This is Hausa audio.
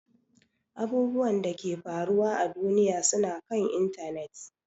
Abubwan Dake ke faruwa à duniya suna kan intanet.